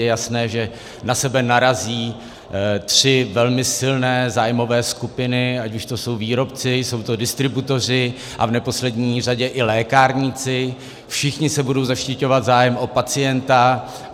Je jasné, že na sebe narazí tři velmi silné zájmové skupiny, ať už to jsou výrobci, jsou to distributoři a v neposlední řadě i lékárníci, všichni se budou zaštiťovat zájmem o pacienta.